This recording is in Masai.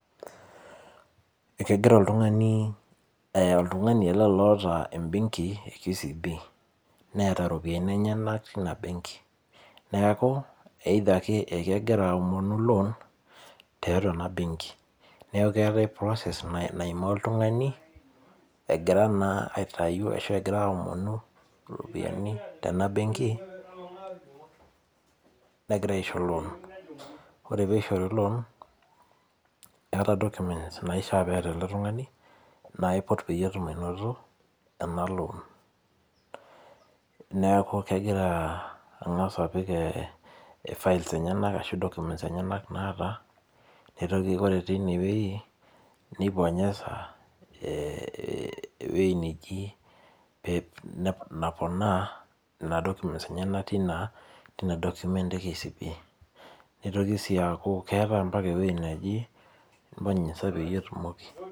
Kegira oltung'ani, oltung'ani ele loota ebenki e KCB, neeta ropiyiani enyanak tina benki. Neeku, either ake ekegira aomonu lon tiatua ena benki. Neeku keeta process naimaa oltung'ani, egira naa aitayu ashu egira aomonu iropiyiani tenabenki, nagira aisho lon. Ore pishori lon, eta documents naishaa neeta ele tung'ani naiput peyie etum ainoto, ena lon. Neeku kegira ang'asa apik files enyanak ashu documents enyanak naata, nitoki ore tinewei, ni bonyeza eh ewei neji naponaa nena documents enyanak tina, tina document e KCB. Nitoki si aku keeta mpaka ewoi neji bonyeza peyie itumoki.